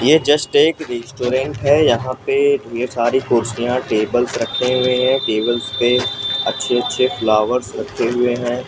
ये जस्ट एक रेस्टोरेंट है यहां पे ढेर सारी कुर्सियां टेबल्स रखे हुए हैं टेबल्स पे अच्छे अच्छे फ्लावर्स रखे हुए हैं।